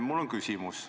Mul on küsimus.